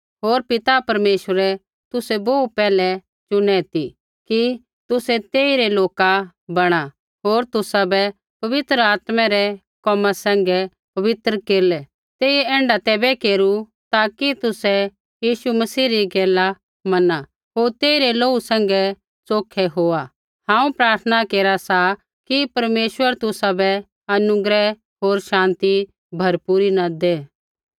होर पिता परमेश्वरै तुसै बोहू पैहलै चुनु ती कि तुसै तेइरै लोका बणा होर तुसाबै पवित्र आत्मा रै कोमा सैंघै पवित्र केरलै तेइयै ऐण्ढा तैबै केरू ताकि तुसै यीशु मसीह री गैला मना होर तेइरै लोहू सैंघै च़ोखै होआ हांऊँ प्रार्थना केरा सा कि परमेश्वर तुसाबै अनुग्रह होर शान्ति भरपूरी न दै